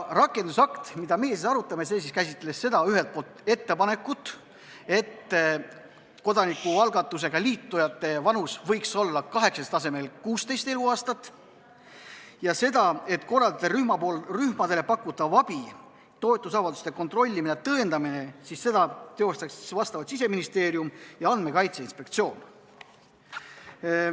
Rakendusakt, mida meie arutame, käsitles ühelt poolt seda ettepanekut, et kodanikualgatusega liitujate vanus võiks olla 18 eluaasta asemel 16 eluaastat, ja korraldajarühmadele pakutavat abi, seda, et toetusavalduse kontrollimist ja tõendamist teostaksid vastavalt Siseministeerium ja Andmekaitse Inspektsioon.